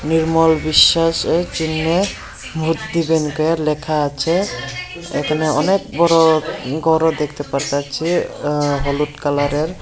নির্মল বিশ্বাস এ চিহ্নে ভোট দিবেন কে লেখা আছে এখানে অনেক বড় ঘরও দেখতে পারতাছি আ হলুদ কালারের।